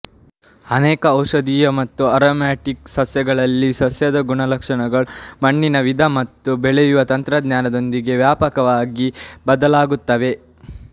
ಅನೇಕ ಔಷಧೀಯ ಮತ್ತು ಆರೊಮ್ಯಾಟಿಕ್ ಸಸ್ಯಗಳಲ್ಲಿ ಸಸ್ಯದ ಗುಣಲಕ್ಷಣಗಳು ಮಣ್ಣಿನ ವಿಧ ಮತ್ತು ಬೆಳೆಯುವ ತಂತ್ರದೊಂದಿಗೆ ವ್ಯಾಪಕವಾಗಿ ಬದಲಾಗುತ್ತವೆ